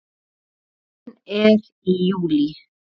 Blómgun er í júlí.